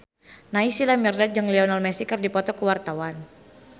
Naysila Mirdad jeung Lionel Messi keur dipoto ku wartawan